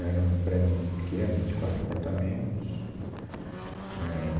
Era um predinho pequeno, de quatro apartamentos. Éh